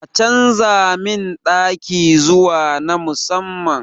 A canza min ɗaki zuwa na musamman